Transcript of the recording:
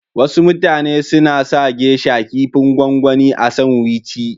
Wasu mutane suna sa "geisha " kipin gwangwani a sanwici.